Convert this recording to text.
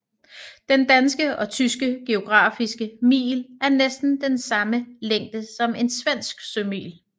Den danske og tyske geografiske mil er næsten den samme længde som en svensk sømil